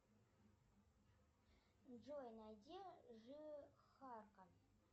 джой найди жихарка